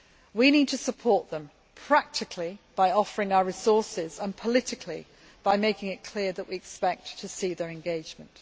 We need to support them practically, by offering our resources, and politically by making it clear that we expect to see their engagement.